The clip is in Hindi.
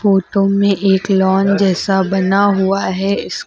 फोटो में एक लॉन जैसा बना हुआ है इसके--